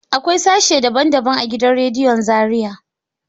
Akwai sashe daban daban a gidan radiyon Zariya.